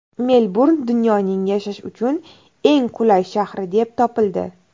Melburn dunyoning yashash uchun eng qulay shahri deb topildi.